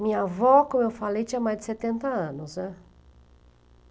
Minha avó, como eu falei, tinha mais de setenta anos, né.